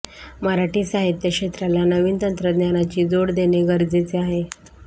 मराठी साहित्य क्षेत्राला नवीन तंत्रज्ञानाची जोड देणे गरजेचे आहे